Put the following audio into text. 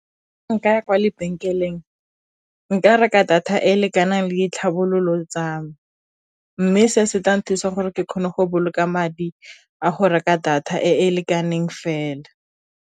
Nkaya kwa lebenkeleng, nka reka data e e lekanang le ditlhabololo tsa me, mme se se tlang thusa gore ke kgone go boloka madi a go reka data e e lekaneng fela.